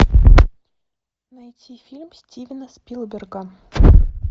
найти фильм стивена спилберга